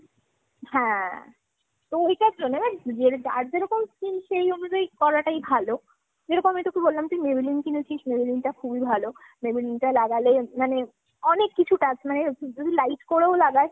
হ্যাঁ। তো ঐটার জন্যে but যার যেরকম skin সেই অনুযায়ী করাটাই ভালো। যেরকম আমি তোকে বললাম তুই Maybelline কিনেছিস Maybelline টা খুবই ভালো। Maybelline টা লাগালে মানে অনেক কিছু task মানে যদি light করেও লাগাস